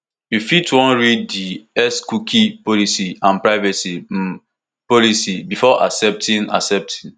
you fit wan read di xcookie policy and privacy um policybefore accepting accepting